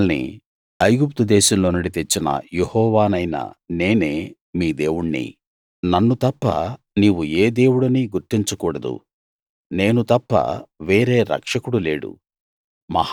మిమ్మల్ని ఐగుప్తు దేశంలో నుండి తెచ్చిన యెహోవానైన నేనే మీ దేవుణ్ణి నన్ను తప్ప నీవు ఏ దేవుడినీ గుర్తించ కూడదు నేను తప్ప వేరే రక్షకుడు లేడు